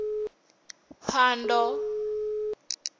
phando